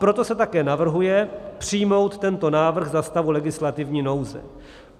Proto se také navrhuje přijmout tento návrh za stavu legislativní nouze.